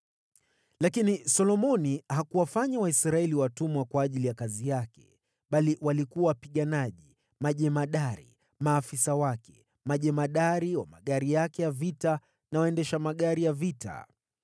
Lakini Solomoni hakuwafanya Waisraeli watumwa kwa ajili ya kazi yake, bali walikuwa wapiganaji, majemadari, maafisa wake, majemadari wa magari yake ya vita na waendesha magari ya vita.